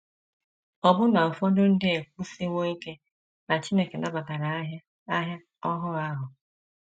Ọbụna ụfọdụ ndị ekwusiwo ike na Chineke nabatara ahịa ahịa ohu ahụ.